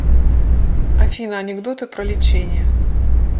афина анекдоты про лечение